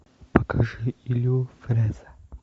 покажи илью фрэза